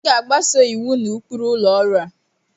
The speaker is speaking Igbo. M ga-agbaso iwu na ụkpụrụ ụlọ ọrụ a